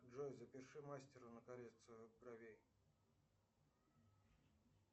джой запиши к мастеру на коррекцию бровей